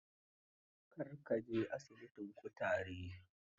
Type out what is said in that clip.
Kar ka je asibitin kutaren.